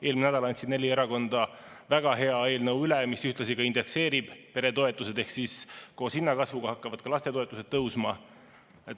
Eelmine nädal andsid neli erakonda üle väga hea eelnõu, mis ühtlasi ka indekseerib peretoetused, ehk koos hinnakasvuga hakkavad ka lastetoetused tõusma.